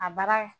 A bara